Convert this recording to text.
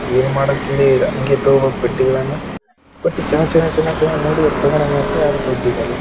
ಏನ್‌ ಮಾಡೋಕ್‌ಲೇ ಇಲ್ಲ ಅಂಗೆ ತೂಗೋಬೇಕು ಬಟ್ಟೆಗಳನ್ನ ಬಟ್ ಚೆನ್ನಾಗ್‌ ಚೆನ್ನಾಗ್‌ ಚೆನ್ನಾಗ್‌ ಚೆನ್ನಾಗಿ ನೋಡಿದ್ರ ತಗೊಳಂಗ ಅನಿಸ್ತದ ಅದ್ರ ದುಡ್ಡಿರಲ್ಲ.